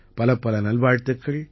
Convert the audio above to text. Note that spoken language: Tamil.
பலப்பல நல்வாழ்த்துக்கள்